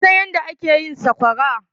Waya san yadda ake yin sakwara?